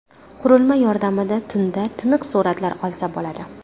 Qurilma yordamida tunda tiniq suratlar olsa bo‘ladi.